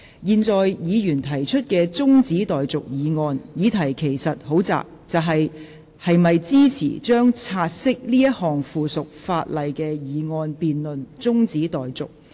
現在議員提出的中止待續議案，議題其實很窄，就是：是否支持將察悉這項附屬法例的議案辯論中止待續。